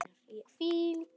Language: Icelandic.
Hvílík list!